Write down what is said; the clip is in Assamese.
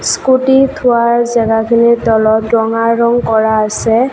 স্কুটি থোৱাৰ জেগাখিনিত তলত ৰঙা ৰং কৰা আছে।